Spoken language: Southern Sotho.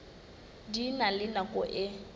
di na le nako e